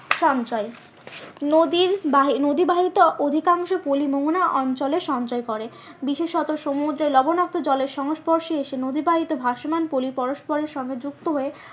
সঞ্চয়, নদী নদী নদী ব্যাহৃত অধিকাংশ পলি মোহনা অঞ্চলে সঞ্চয় করে। বিশেষত সমুদ্রে লবনাক্ত জলের সংস্পর্শে এসে নদীবাহিত ভাসমান পলি পরস্পরের সঙ্গে যুক্ত হয়ে।